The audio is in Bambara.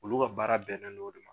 Olu ka baara bɛnen no o de ma.